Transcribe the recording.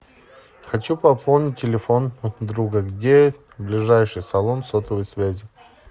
хочу пополнить телефон друга где ближайший салон сотовой связи